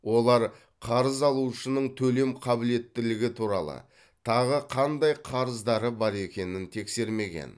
олар қарыз алушының төлем қабілеттілігі туралы тағы қандай қарыздары бар екенін тексермеген